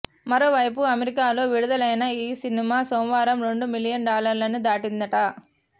మరోవైపు అమెరికాలో విడుదలైన ఈ సినిమా సోమవారం రెండు మిలియన్ డాలర్లని దాటిందట